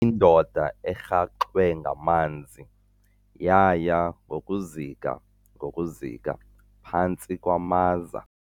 Indoda erhaxwe ngamanzi yaya ngokuzika ngokuzika phantsi kwamaza.